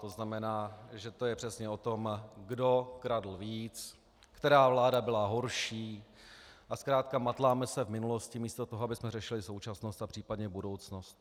To znamená, že to je přesně o tom, kdo kradl víc, která vláda byla horší, a zkrátka matláme se v minulosti místo toho, abychom řešili současnost a případně budoucnost.